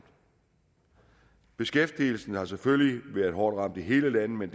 beskæftigelsen har selvfølgelig været hårdt ramt i hele landet men